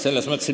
Ei, ma ei tea.